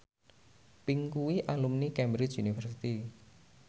Pink kuwi alumni Cambridge University